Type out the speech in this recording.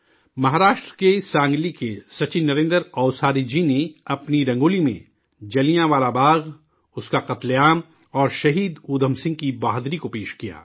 مہاراشٹر کے سانگلی کے سچن نریندر اوساری جی نے اپنی رنگولی میں جلیاں والا باغ، اس کا قتل عام اور شہید اودھم سندھ کی بہادری کو پیش کیا